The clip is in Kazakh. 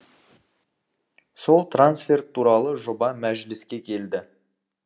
сол трансферт туралы жоба мәжіліске келді